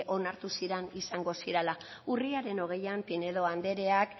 onartu ziren izango zirela urriaren hogeian pinedo andreak